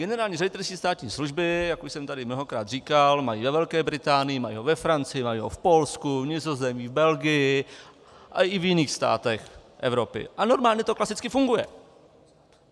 Generální ředitelství státní služby, jak už jsem tady mnohokrát říkal, mají ve Velké Británii, mají ho ve Francii, mají ho v Polsku, v Nizozemí, v Belgii a i v jiných státech Evropy a normálně to klasicky funguje.